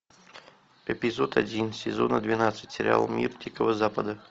эпизод один сезона двенадцать сериала мир дикого запада